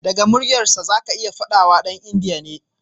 Daga muryarsa zaka iya fadawa dan india ne.